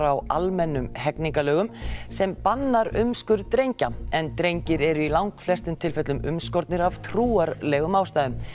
á almennum hegningarlögum sem bannar umskurð drengja en drengir eru í langflestum tilfellum umskornir af trúarlegum ástæðum